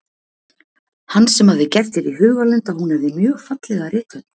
Hann sem hafði gert sér í hugarlund að hún hefði mjög fallega rithönd.